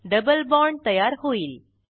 double bond तयार होईल